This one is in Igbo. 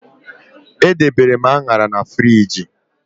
Edebere m Añara na friji